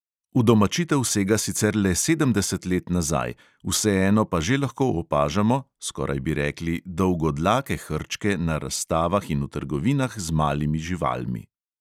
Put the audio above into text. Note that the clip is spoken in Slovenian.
Udomačitev sega sicer le sedemdeset let nazaj, vseeno pa že lahko opažamo, skoraj bi rekli, dolgodlake hrčke na razstavah in v trgovinah z malimi živalmi.